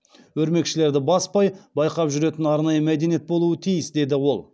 өрмекшілерді баспай байқап жүретін арнайы мәдениет болуы тиіс деді ол